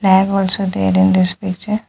Flag also there in this picture.